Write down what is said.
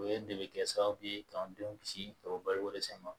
O ye de be kɛ sababu ye k'an denw kisi ka bɔ balokodɛsɛ ma